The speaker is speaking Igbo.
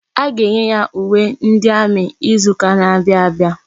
A ga-enye ya uwe ndi amị izuka na-abịa abịa.